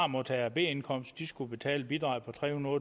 modtager b indkomst i skulle betale et bidrag på tre hundrede